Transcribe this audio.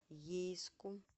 ейску